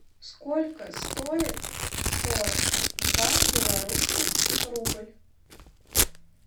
сколько стоит сорок два белорусских рубль